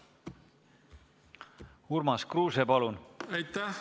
Urmas Kruuse, palun!